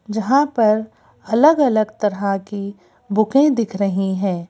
जहाँ पर अलग अलग तरह की बुकें दिख रही हैं।